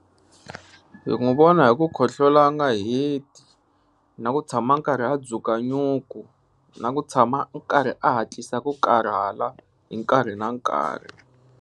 Hi n'wi vona hi ku khohlola a nga heti na ku tshama nkarhi a dzuka nyuku na ku tshama nkarhi a hatlisa ku karhala hi nkarhi na nkarhi.